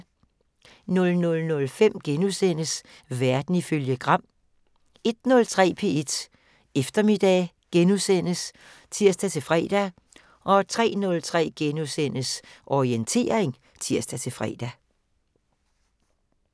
00:05: Verden ifølge Gram * 01:03: P1 Eftermiddag *(tir-fre) 03:03: Orientering *(tir-fre)